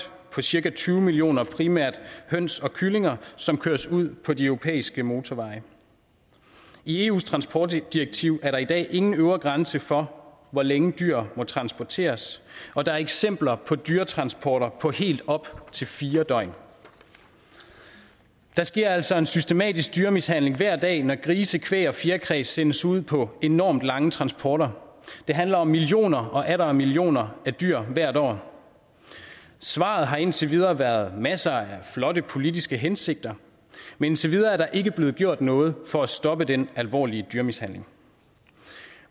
på cirka tyve millioner primært høns og kyllinger som køres ud på de europæiske motorveje i eus transportdirektiv er der i dag ingen øvre grænse for hvor længe dyr må transporteres og der er eksempler på dyretransporter på helt op til fire døgn der sker altså en systematisk dyremishandling hverdag når grise kvæg og fjerkræ sendes ud på enorm lange transporter det handler om millioner og atter millioner af dyr hvert år svaret har indtil videre været masser af flotte politiske hensigter men indtil videre er der ikke blevet gjort noget for at stoppe den alvorlige dyremishandling